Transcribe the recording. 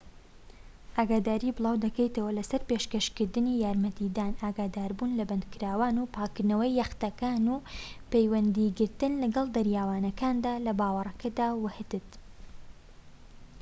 ئاگاداری بڵاو دەکەیتەوە لەسەر پێشکەشکردنی یارمەتیدان ئاگاداربوون لە بەندەرەکان و پاکردنەوەی یەختەکان و پەیوەندیگرتن لەگەڵ دەریاوانەکاندا لە باڕەکەدا و هتد